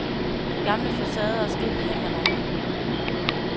De gamle facader og skilte hænger der endnu.